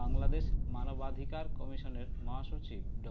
বাংলাদেশ মানবাধিকার কমিশনের মহাসচিব ড